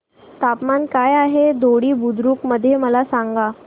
तापमान काय आहे दोडी बुद्रुक मध्ये मला सांगा